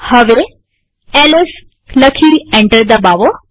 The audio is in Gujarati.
હવે એલએસ લખી એન્ટર દબાવો